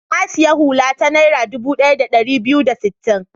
Na sayi hula ta Naira dubu ɗaya da ɗari biyu da sittin.